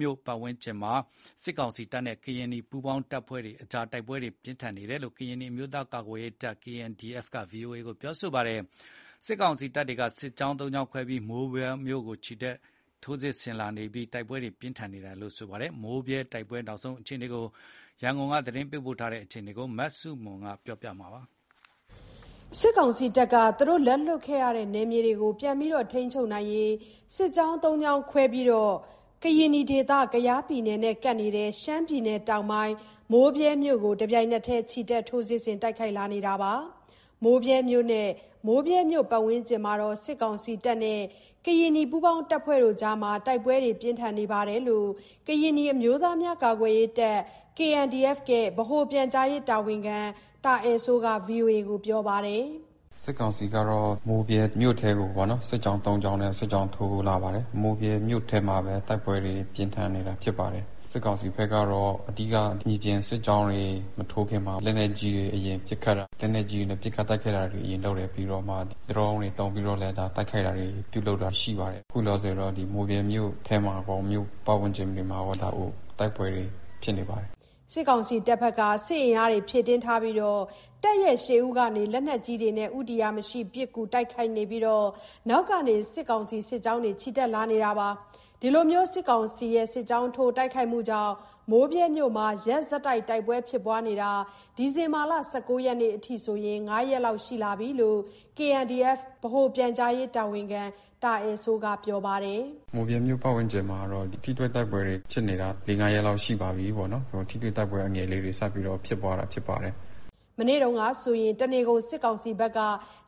မြို့ပတ်ဝန်းကျင်မှာ စစ်ကောင်စီတပ်နဲ့ ကရင်နီပူးပေါင်းအဖွဲ့တို့ကြား တိုက်ပွဲပြင်းထန်နေတယ်လို့ ကရင်နီအမျိုးသားများကာကွယ်ရေးတပ် က ဗွီအိုအေကို ပြောပါတယ်။ စစ်ကောင်စီတပ်က စစ်ကြောင်း ၃ ကြောင်းခွဲပြီး မိုးဗြဲမြို့ပေါ်ကို ချီတက် ထိုးစစ်ဆင် လာတာကြောင့် နှစ်ဖက်တိုက်ပွဲပြင်းထန်လာတယ်လို့ ဆိုပါတယ်။ မိုးဗြဲတိုက်ပွဲ နောက်ဆုံးရအခြေအနေ ရန်ကုန်က သတင်းပေးပို့ထားပါတယ်။ စစ်ကောင်စီတပ်က လက်လွှတ်ခဲ့ရတဲ့နယ်မြေကို ပြန်လည်ထိန်းချုပ်နိုင်ဖို့ စစ်ကြောင်း သုံးကြောင်းခွဲပြီး ကယား ပြည်နယ်နဲ့ကပ်နေတဲ့ ရှမ်းပြည်တောင်ပိုင်း မိုးဗြဲမြို့ကို တပြိုင်တည်းချီတက် ထိုးစစ် ဆင် တိုက်ခိုက်လာနေပါတယ်။ မိုးဗြဲမြို့နဲ့ မြို့ပတ်ဝန်းကျင်မှာ စစ်ကောင်စီတပ်နဲ့ ကရင်နီ ပူးပေါင်းအဖွဲ့ တို့ကြား တိုက်ပွဲပြင်းထန်နေတဲ့အခြေအနေ ကရင်နီအမျိုးသားများ ကာကွယ်ရေးတပ် ဗဟိုပြန်ကြားရေး တာဝန်ရှိသူ တာအယ်စိုးက ဗွီအိုအေကို ပြောပါတယ်။ “စစ်ကောင်စီကတော့ မိုးဗြဲမြို့ထဲကိုပေါ့နော်၊ စစ်ကြောင်းသုံးကြောင်းနဲ့ စစ်ကြောင်းထိုးလာပါတယ်။ မိုးဗြဲမြို့ထဲမှာပဲ တိုက်ပွဲတွေ ပြင်းထန်နေတာ ဖြစ်ပါတယ်။ စစ်ကောင်စီဘက်ကတော့ အဓိက မြေပြင် တွေမထိုးခင်မှာ လက်နက်ကြီးတွေ အရင်ပစ်ခတ်တာ၊ လက်နက်ကြီးတွေနဲ့ ပစ်ခတ်တိုက်ခိုက်တာ အရင်လုပ်တယ်။ ပြီးတော့မှ ဒရုန်းတွေ သုံးပြီးတော့ တိုက်ခိုက်တာတွေ ပြုလုပ်တာရှိပါတယ်။ ခုလောလောဆယ်တော့ မိုးဗြဲမြို့ ထဲမှာရော မြို့ပတ်ဝန်းကျင်တွေမှာရော တိုက်ပွဲတွေ ဖြစ်နေပါတယ်။” စစ်ကောင်စီတပ်ဘက်က စစ်အင်အားတွေ ဖြည့်တင်းထားပြီး တပ်ရဲ့ရှေ့ဦးကနေ လက်နက်ကြီးနဲ့ ဦးတည်ရာမရှိ ပစ်ကူတိုက်ခိုက်ပြီး နောက်ကနေ စစ်ကောင်စီ စစ်ကြောင်းတွေ ချီတက်လာကြတယ်လို့ ဆိုပါတယ်။ စစ်ကောင်စီရဲ့ စစ်ကြောင်းထိုးမှုကြောင့် မိုးဗြဲမြို့မှာတော့ ရက်ဆက်တိုက်ပွဲ ဖြစ်ပွားတာ ဒီဇင်ဘာလ ၁၉ ရက်နေ့အထိ ၅ ရက်လောက်ရှိလာပြီလို့ KNDF ဗဟိုပြန်ကြားရေး တာဝန်ရှိသူ တာအယ်စိုးက ပြောပါတယ်။ “မိုးဗြဲမြို့ပတ်ဝန်းကျင်တော့ ထိတွေ့တိုက်ပွဲတွေက ဖြစ်နေတာ ၄-၅ ရက်လောက်ရှိပါပြီးပေါ့နော်၊ ထိတွေ့ တိုက်ပွဲ အငယ်လေးတွေ စပြီးတော့ ပွားဖြစ်တာဖြစ်ပါတယ်။” မနေ့က တနေကုန် စစ်ကောင်စီက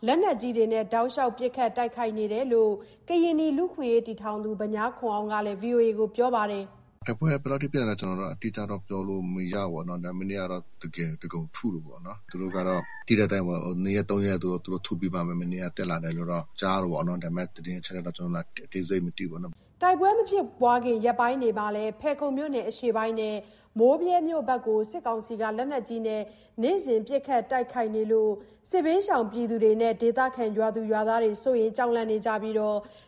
လက်နက်ကြီးနဲ့ တောက်လျှောက် ပစ်ခတ်တိုက်ခိုက်နေတယ်လို့ ကရင်နီလူ့အခွင့်အရေးတည်ထောင်သူ ဗညားခွန်အောင်က ဗွီအိုအေကို ပြောပါတယ်။ “တိုက်ပွဲက ဘယ်လောက်ထိဖြစ်နေလဲ ကျနော်လည်း အတိအကျတော့ ပြောလို့ မရဘူးပေါ့နော်။ ဒါပေမယ့် မနေ့ကတော့ တကယ် အသားကုန်ထု နေတယ်ပေါ့နော်။ သူတို့ ကတော့ သိတဲ့အတိုင်းပေါ့ ၂ ရက်-၃ ရက် သူတို့ထုပြီးမှ မနေ့က တက်လာတယ်လို့တော့ ကြားတယ်ပေါ့၊ ဒါပေမယ့် သတင်းအချက်အလက်က ကျနော်လည်း အသေးစိတ်မသိဘူးပေါ့နော်။” တိုက်ပွဲမဖြစ်ခင်ရက်ပိုင်းအတွင်းမှာလည်း ဖယ်ခုံမြို့နယ်အရှေ့ပိုင်းနဲ့ မိုးဗြဲမြို့ဘက်ကို စစ်ကောင်စီက လက်နက်ကြီးနဲ့ နေ့စဉ်ပစ်ခတ်တိုက်ခိုက်နေလို့ စစ်ဘေးရှောင်ပြည်သူတွေနဲ့ ဒေသခံ ရွာသူရွာသားတွေ စိုးရိမ်ကြောက်လန့်နေကြပြီး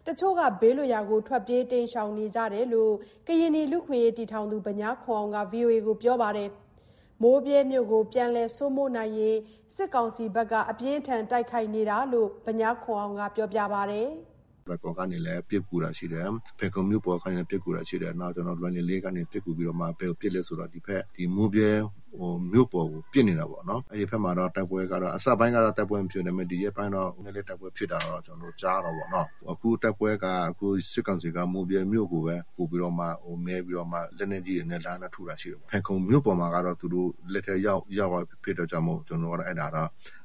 တချို့က ဘေးလွတ်ရာကို ထွက်ပြေးတိမ်းရှောင်နေကြပြီလို့ ကရင်နီ လူ့အခွင့်အရေး တည်ထောင်သူ ဗညားခွန်အောင်က ဗွီအိုအေကို ပြောထားပါတယ်။ မိုးဗြဲမြို့ကို ပြန်လည်စိုးမိုးနိုင်ဖို့ စစ်ကောင်စီက အပြင်းအထန် ခုခံတိုက်ခိုက်နေတယ်လို့ ကရင်နီလူ့အခွင့်အရေး တည်ထောင်သူ ဗညားခွန်အောင်က ပြောပါတယ်။ “လွိုင်ကော်ကနေလည်း ပစ်ကူတာရှိတယ်၊ ဖယ်ခုံမြို့ပေါ်ကနေ ပစ်ကူတာရှိတယ်။ နောက် ကျနော်တို့ လွိုင်လင်လေးကနေ ပစ်ကူပြီးတော့မှ ဘယ်ကိုပစ်လဲဆိုတော့ ဒီဖက် မိုးဗြဲမြို့ပေါ်ကို ပစ်နေတာပေါ့နော်။ အဲ့ဒီဘက်မှာ တိုက်ပွဲကတော့ အစပိုင်းက တိုက်ပွဲမဖြစ်ဘူး၊ ဒါပေမယ့် ဒီရက်ပိုင်း တော့ တိုက်ပွဲဖြစ်တာ တော့ ကျနော်တို့ ကြားတယ်ပေါ့နော်။ အခုတိုက်ပွဲက စစ်ကောင်စီက မိုးဗြဲမြို့ကိုပဲ ပိုပြီးတော့မှ မဲပြီး တော့မှ လက်နက်ကြီးတွေနဲ့ လှမ်းလှမ်းထုတာရှိတယ်။ ဖယ်ခုံမြို့ပေါ်မှာကတော့ သူတို့ လက်ထဲရောက်သွားတာ ဖြစ်တဲ့အတွက်ကြောင့်မို့လို့ ကျနော်ကတော့ အဲ့ဒါက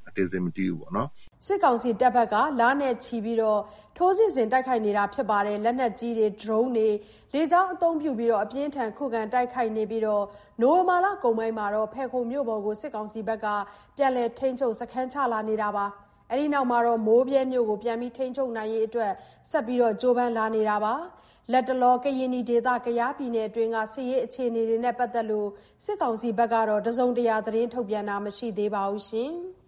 အသေးစိတ် မသိဘူးပေါ့နော်။” စစ်ကောင်စီတပ်က လနဲ့ချီကြာ ထိုးစစ်ဆင် လက်နက်ကြီး၊ ဒရုန်း၊ လေကြောင်းအသုံးပြု အပြင်းအထန် ခုခံတိုက်ခိုက်ပြီး နိုဝင်ဘာလကုန်ပိုင်းလောက်က ဖယ်ခုံမြို့ပေါ်ကို စစ်ကောင်စီက ပြန်လည်ထိန်းချုပ် လိုက်ပါတယ်။ အဲ့ဒီနောက် မိုးဗြဲမြို့ကို ပြန်ထိန်းချုပ်နိုင်ဖို့ ကြိုးစားလာတာပါ။ လတ်တလော မိုးဗြဲတိုက်ပွဲနဲ့ အခြေအနေနဲ့ ပတ်သက်လို့ စစ်ကောင်စီဘက်က တစုံတရာထုတ်ပြန်တာမရှိသေးပါဘူး။